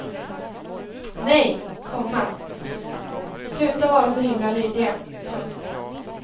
Nej, komma sluta vara så himla lydiga. punkt